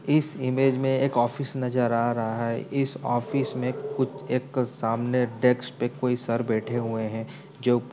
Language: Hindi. इस इमेज में एक ऑफिस नज़र आ रहा है इस ऑफिस में कुछ एक सामने डेस्क पे कोई सर बैठे हुए हैं जो --